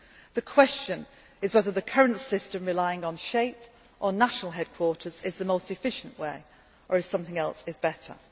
The question is whether the current system, relying on SHAPE or national headquarters, is the most efficient way or if something else is